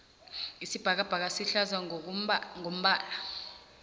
isibhakabhaka sihlaza ngombala